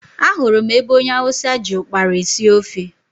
Ahụrụ m ebe onye hausa ji ụkpara esi ofe.